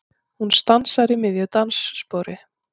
Hún stansar í miðju dansspori.